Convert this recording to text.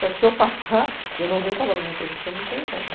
Só que se eu passar, eu não venho trabalhar na empresa, porque eu não tenho como.